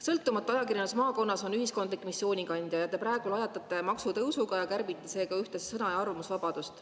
Sõltumatu ajakirjandus maakonnas on ühiskondliku missiooni kandja ja te praegu lajatate maksutõusuga ja kärbite seega ühtlasi sõna‑ ja arvamusvabadust.